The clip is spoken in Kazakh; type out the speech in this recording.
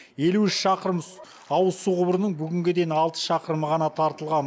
елу үш шақырым ауызсу құбырының бүгінге дейін алты шақырымы ғана тартылған